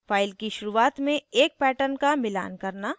file की शुरुआत में एक pattern का मिलान करना